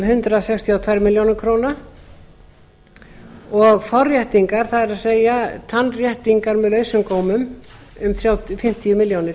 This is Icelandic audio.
hundrað sextíu og tvær milljónir króna og forréttingar það er tannréttingar með lausum gómum um fimmtíu milljónir